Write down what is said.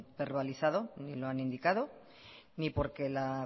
verbalizado ni lo han indicado ni porque la